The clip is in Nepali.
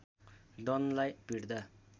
डनलाई पिट्दा